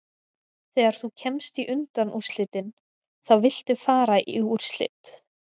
Þegar þú kemst í undanúrslitin þá viltu fara í úrslit.